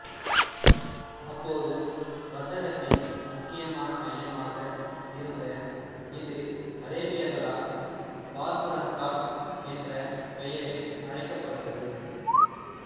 அப்போது வர்த்தகத்தின் முக்கியமான மையமாக இருந்த இது அரேபியர்களால் பார்புரன்காட் என்ற பெயரில் அழைக்கப்பட்டது